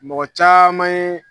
Mɔgɔ caman ye.